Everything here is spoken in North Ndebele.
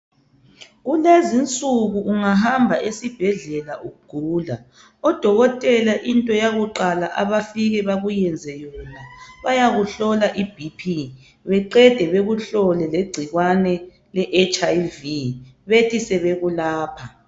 Kulezinsuku ungahamba esibhedlela ugula odokotela into yakuqala abafika bakuyenze yona bayakuhlola ibp beqede bekuhlole legcikwane le HIV. Bethi sebekulapha.